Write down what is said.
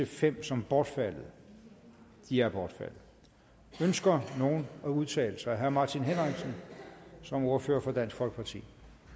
fem som bortfaldet de er bortfaldet ønsker nogen at udtale sig herre martin henriksen som ordfører for dansk folkeparti